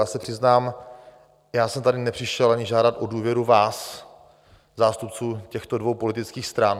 Já se přiznám, že jsem tady nepřišel ani žádat o důvěru vás, zástupce těchto dvou politických stran.